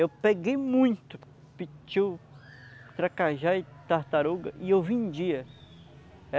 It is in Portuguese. Eu peguei muito pitiu, tracajá e tartaruga e eu vendia.